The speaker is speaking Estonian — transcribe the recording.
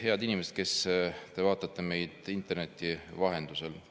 Head inimesed, kes te vaatate meid interneti vahendusel!